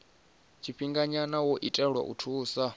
tshifhinganya wo itelwa u thusa